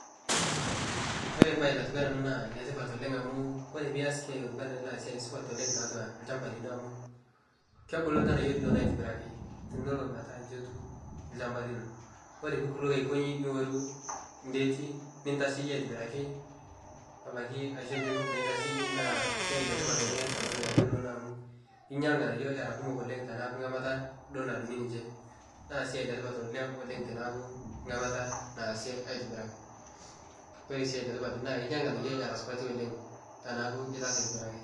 Ore mbae natiu enaa ena naa netipat oleng amuu ore pias siaai natiu enaa inia naa netipat oleng tiatua olshamba lino amu kebulu ilganayio linonok aitobiraki tenelo meetaa nji etiu olshamba lino, ore piikutoki aikonji niworu ngeeti nintasheyie aitobiraki, abaki nincho kufu laitasheyie naa siaai letipat oleng tiatua ilganayio linonok amu inya ilganayio era kumok oleng tenaaku ngamata dol nadungi ninche, naa siaai letipat oleng tenaaku ngamata naasie aitobiraki, koree sii letipat naa inya ilganayio tenidol ngamata ladungi ninche, naa siaai letipat oleng teneeku ngamata naasi aitobiraki, koree sii enetipat naa inya ng'anayio era supati oleng tiniyas aitobiraki.